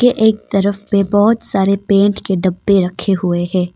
एक तरफ पे बहुत सारे पेंट के डब्बे रखे हुए हैं।